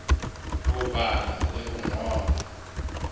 ho bala le ho ngola